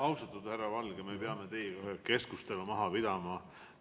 Austatud härra Valge, me peame teiega ühe keskustelu maha pidama.